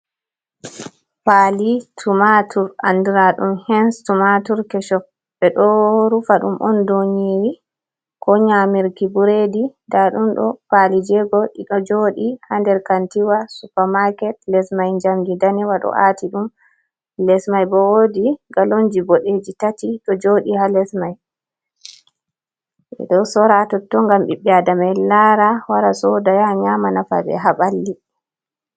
Pali tumatur andira ɗum hen tumatur kesho, ɓe ɗo rufa ɗum on dou nyeri ko nyamirki ɓureɗi, nda ɗum ɗo pali jego ɗiɗo joɗi ha nder kantiwa supermarket les mai jamdi danewa ɗo aati ɗum, les mai bo wodi galonji boɗeji tati ɗo joɗi ha les mai, ɓe ɗo sora totton ngam ɓiɓɓe adama en lara wora soda, yah nyama nafa ɓe ha ɓalli.